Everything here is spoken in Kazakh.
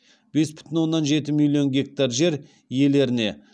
бес бүтін оннан жеті миллион гектар жер иелеріне